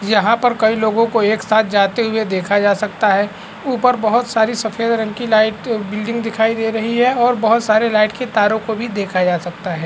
यहाँ पर कई लोगों को एक साथ जाते हुए देखा जा सकता है ऊपर बहुत सारी सफेद रंग की लाइट बिल्डिंग दिखाई दे रही है और बहुत सारे लाइट के तारों को भी देखा जा सकता है।